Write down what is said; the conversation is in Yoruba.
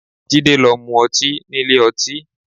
Jide lọ mu ọtí nílé ọtí